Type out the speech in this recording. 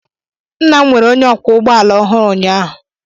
Nna m were onye ọkwọ ụgbọ ala ọhụrụ ụnyahụ.